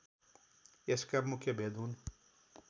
यसका मुख्य भेद हुन्